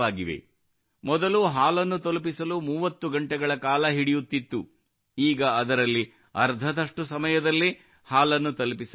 ಮೊದಲು ಹಾಲನ್ನು ತಲುಪಿಸಲು 30 ಗಂಟೆಗಳ ಕಾಲ ಹಿಡಿಯುತ್ತಿತ್ತು ಈಗ ಅದರಲ್ಲಿ ಅರ್ಧದಷ್ಟು ಸಮಯದಲ್ಲೇ ಹಾಲು ತಲುಪಿಸಲಾಗುತ್ತಿದೆ